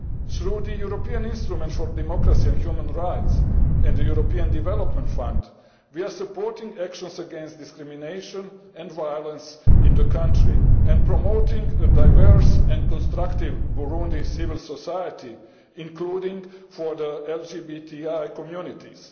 Through the European Instrument for Democracy and Human Rights and the European Development Fund we are supporting actions against discrimination and violence in the country and promoting a diverse and constructive Burundian civil society, including for the LGBTI communities.